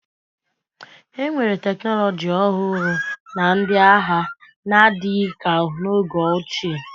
enwere teknọlọji ọhụrụ na ndị agha n'adịghị ka n'oge ochie